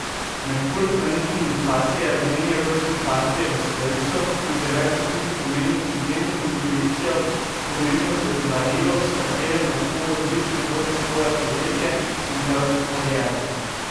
Merkur, planet komunikacije, je v njeni rojstni karti v strelcu in v deveti hiši pomeni izjemno intuicijo, pomembno darilo, s katerim lahko odlično vodi svoje podjetje in pevsko kariero.